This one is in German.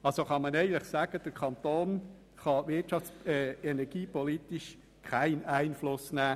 Eigentlich kann man sagen, der Kanton könne energiepolitisch keinen Einfluss nehmen.